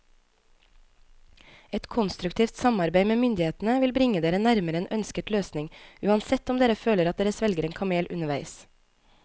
Et konstruktivt samarbeid med myndighetene vil bringe dere nærmere en ønsket løsning, uansett om dere føler at dere svelger en kamel underveis.